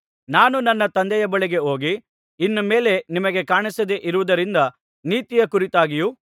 ನಾನು ನನ್ನ ತಂದೆಯ ಬಳಿಗೆ ಹೋಗಿ ಇನ್ನು ಮೇಲೆ ನಿಮಗೆ ಕಾಣಿಸದೆ ಇರುವುದರಿಂದ ನೀತಿಯ ಕುರಿತಾಗಿಯೂ